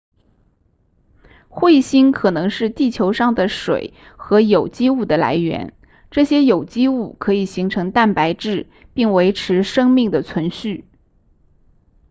彗星可能是地球上的水和有机物的来源这些有机物可以形成蛋白质并维持生命的存续